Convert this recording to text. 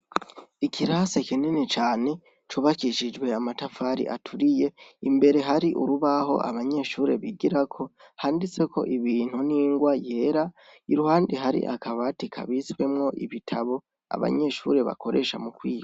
Ikirasi kinini cane cubakishijwe amatafari aturiye, imbere hari urubaho abanyeshure bigirako handitseko ibintu n'ingwa yera, iruhande hari akabati kabitswemwo ibitabu abanyeshure bakoresha mukwiga.